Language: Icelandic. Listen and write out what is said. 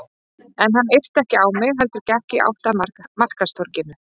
En hann yrti ekki á mig heldur gekk í átt að markaðstorginu.